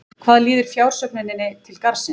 Hvað líður fjársöfnuninni til Garðsins?